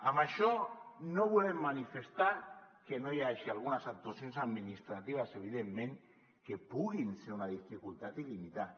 amb això no volem manifestar que no hi hagi algunes actuacions administratives evidentment que puguin ser una dificultat i limitar